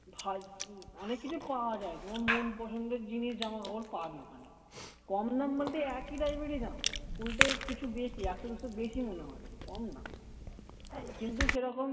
অনেক কিছু পাওয়া যায় তোমার মন পছন্দের জিনিস জামা কাপড় পাবে ওখানে কম দাম বলতে একই type এর দাম উল্টে কিছু বেশি একশো দুশো বেশি মনে হবে কম না কিন্তু সেরকম